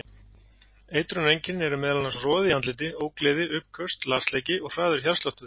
Eitrunareinkennin eru meðal annars roði í andliti, ógleði, uppköst, lasleiki og hraður hjartsláttur.